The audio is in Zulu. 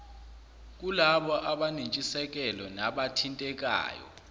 kulabo abanentshisekelo nabathintekayo